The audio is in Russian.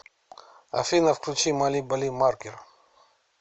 афина включи мали бали маркер